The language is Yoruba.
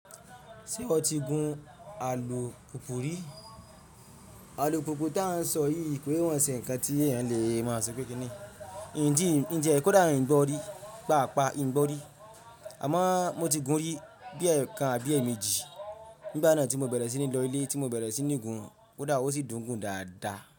Ṣé iwo ti gun àlùpùpù rí? Àlùpùpù tí à ń sọ yìí kò i maa ṣe ǹkan tí ènìyàn lè mọ̀ sí pé kíni. Njẹ́ kò dáa ń gbọ́ rí, pàápàá ń gbọ́ rí. Àmọ́ mo ti gun un rí bí ẹkan àbí èémejì. Nígbà náà tí mo bẹ̀rẹ̀ sí ní lọ ilé tí mo bẹ̀rẹ̀ sí ní gun, ó dára wò sí dùn gùn dáadáa.